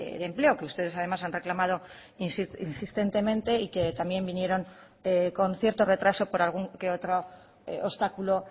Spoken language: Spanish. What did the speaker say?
de empleo que ustedes además han reclamado insistentemente y que también vinieron con cierto retraso por algún que otro obstáculo